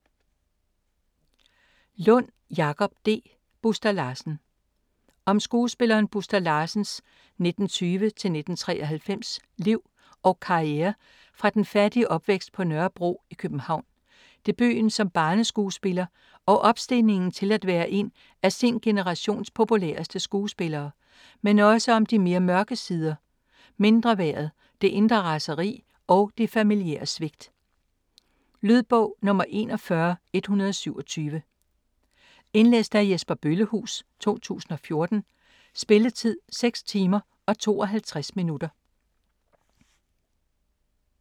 Lund, Jakob D.: Buster Larsen Om skuespilleren Buster Larsens (1920-1993) liv og karriere fra den fattige opvækst på Nørrebro i København, debuten som barneskuespiller og opstigningen til at være en af sin generations populæreste skuespillere, men også om de mere mørke sider: mindreværdet, det indre raseri og de familiære svigt. Lydbog 41127 Indlæst af Jesper Bøllehuus, 2014 Spilletid: 6 timer, 52 minutter.